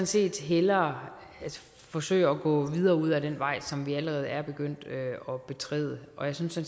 set hellere forsøge at gå videre ud ad den vej som vi allerede er begyndt at betræde og jeg synes at